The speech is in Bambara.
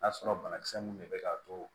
N'a sɔrɔ banakisɛ mun de be k'a to